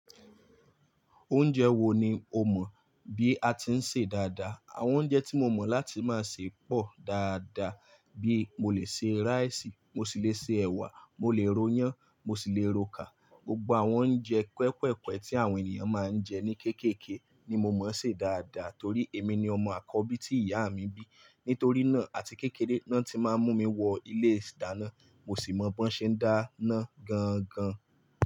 Oúnjẹ wo ni o mọ̀ bí a ti ń sè dáadáa? Àwọn oúnjẹ tí mo mọ̀ láti máa sè pọ̀ dáadáa, bí mo lè sè rice, mo sì lè sè ẹ̀wà, mo lè royán, mo sì le rokà. Gbogbo àwọn oúnjẹ kúẹ́kùẹ̀kúẹ́ tí àwọn ènìyàn máa ń jẹ ní kéékèèké ni mo mọ̀-ọ́n sè dáadáa torí èmi ni ọmọ àkọ́bí tí ìyá mi bí. Nítorí náà àti kékeré ná tí máa ń mú mi wọ ilé ìdáná, mo sì mọ̀ b'ọ́n ṣe ń dáná gan-an gan.